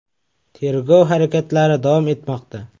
Tergov harakatlari davom etmoqda.